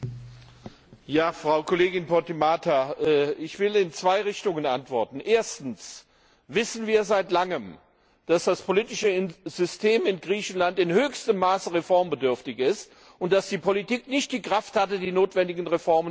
Ja, Frau Kollegin Podimata, ich will in zwei Richtungen antworten Erstens wissen wir seit langem, dass das politische System in Griechenland in höchstem Maße reformbedürftig ist und dass die Politik nicht die Kraft hatte, die notwendigen Reformen anzugehen.